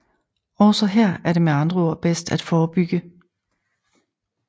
Også her er det med andre ord bedst at forebygge